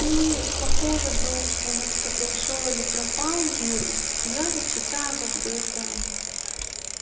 ну по поводу что нас кто-то ушёл или пропал юра я вот читаю как бы это